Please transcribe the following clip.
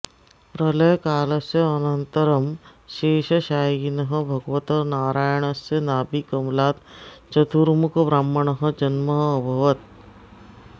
प्रलयकालस्य अनन्तरं शेषशायिनः भगवतः नारायणस्य नाभिकमलात् चतुर्मुखब्रह्मणः जन्म अभवत्